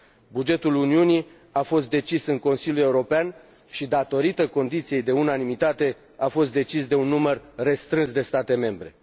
Bugetul Uniunii a fost decis în Consiliul European și datorită condiției de unanimitate a fost decis de un număr restrâns de state membre.